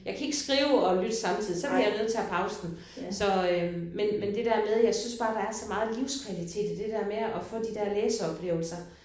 Jeg kan ikke skrive og lytte samtidig så bliver jeg nødt til at pause den så øh men men det der med jeg synes bare der er så meget livskvalitet der der med at i at få de der læseoplevelser